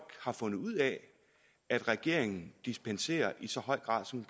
har fundet ud af at regeringen dispenserer i så høj grad som